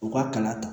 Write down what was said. U ka kala ta